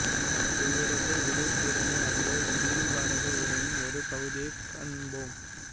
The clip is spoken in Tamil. இவரது உரைத்திறனை அறிய வில்லிபாரத உரையின் ஒரு பகுதியைக் காண்போம்